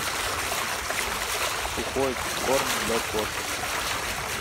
сухой корм для кошек